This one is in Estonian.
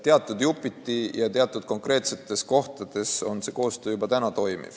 Jupiti ja teatud konkreetsetes kohtades toimib see koostöö juba praegu.